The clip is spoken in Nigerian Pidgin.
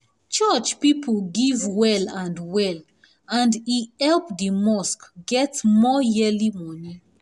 church people give well and well and e help di mosque get more yearly money